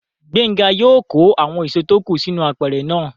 Gbénga yóò kó àwọn èso tó kù sínú apẹ̀rẹ̀ náà